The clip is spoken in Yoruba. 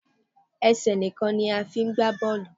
Ẹsẹ̀ nìkan ni a fi ń gba bọ́ọ́lù.